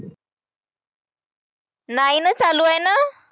नाही ना चालू आहे ना.